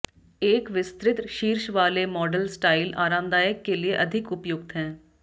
एक विस्तृत शीर्ष वाले मॉडल स्टाइल आरामदायक के लिए अधिक उपयुक्त हैं